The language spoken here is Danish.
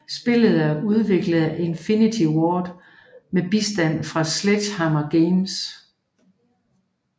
Spillet er udviklet af Infinity Ward med bistand fra Sledgehammer Games